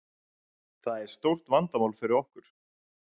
Það er stórt vandamál fyrir okkur.